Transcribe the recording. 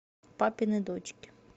папины дочки